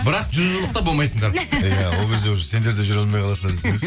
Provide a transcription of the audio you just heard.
бірақ жүз жылдықта болмайсыңдар иә ол кезде уже сендер де жүре алмай қаласыңдар